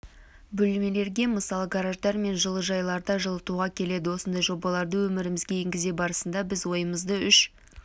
бөлмелерге мысалы гараждар мен жылыжайларды жылытуға келеді осындай жобаларды өмірімізге енгізу барысында біз ойымызды үш